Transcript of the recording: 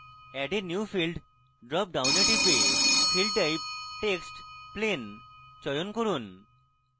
add a new field drop ডাউনে type field type text plain চয়ন করুন